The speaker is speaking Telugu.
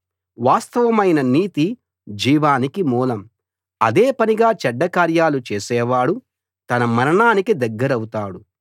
వాస్తవమైన నీతి జీవానికి మూలం అదే పనిగా చెడ్డ కార్యాలు చేసేవాడు తన మరణానికి దగ్గరౌతాడు